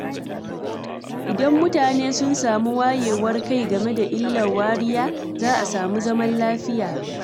Idan mutane sun samu wayewar kai game da illar wariya, za a samu zaman lafiya.